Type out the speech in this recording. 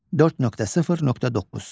4.0.9.